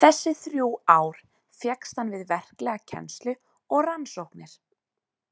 Þessi þrjú ár fékkst hann við verklega kennslu og rannsóknir.